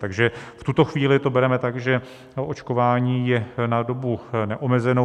Takže v tuto chvíli to bereme tak, že naočkování je na dobu neomezenou.